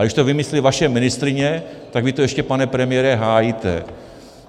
A když to vymyslí vaše ministryně, tak vy to ještě, pane premiére, hájíte.